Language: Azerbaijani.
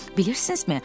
Bilirsiznizmi?